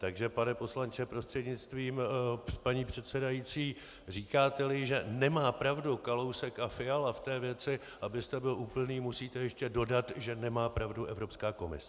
Takže pane poslanče prostřednictvím paní předsedající, říkáte-li, že nemá pravdu Kalousek a Fiala v té věci, abyste byl úplný, musíte ještě dodat, že nemá pravdu Evropská komise.